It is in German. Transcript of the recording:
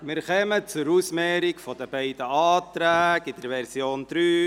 Wir kommen zur Ausmehrung der beiden Abänderungsanträge der Version 3.